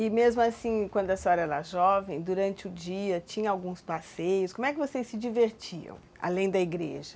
E mesmo assim, quando a senhora era jovem, durante o dia tinha alguns passeios, como é que vocês se divertiam, além da igreja?